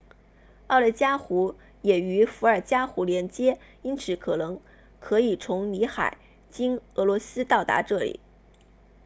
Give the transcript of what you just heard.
奥内加湖 lake onega 也与伏尔加河 volga 连接因此可能可以从里海 caspian sea 经俄罗斯到达这里